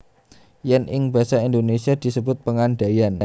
Yèn ing basa Indonésia disebut pengandaian